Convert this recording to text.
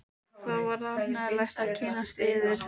Það var ánægjulegt að kynnast yður.